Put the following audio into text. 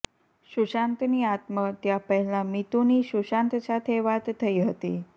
સુશાંતની આત્મહત્યા પહેલા મીતૂની સુશાંત સાથે વાત થઈ હતી